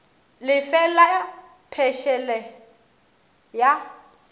le fe la phešele ya